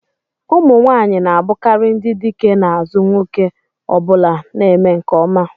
ụmụ nwanyị na-abụkarị ndị dike n'azụ nwoke ọ bụla na-eme nke ọma